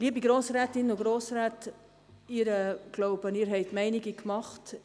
Liebe Grossrätinnen und Grossräte, ich glaube, Sie haben sich Ihre Meinungen gemacht.